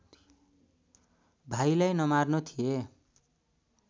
भाइलाई नमार्नु थिए